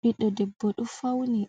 Ɓiɗɗo debbo ɗo fauni,